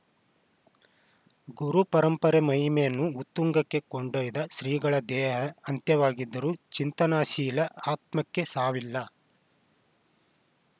ಗುರುಪರಂಪರೆ ಮಹಿಮೆಯನ್ನು ಉತ್ತುಂಗಕ್ಕೆ ಕೊಂಡೊಯ್ದ ಶ್ರೀಗಳ ದೇಹ ಅಂತ್ಯವಾಗಿದ್ದರೂ ಚಿಂತನಾಶೀಲ ಆತ್ಮಕ್ಕೆ ಸಾವಿಲ್ಲ